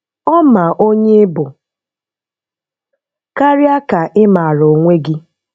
Ọ́ mà ònyé ị́ bụ̀, káríá kà ị́ màára onwé gị́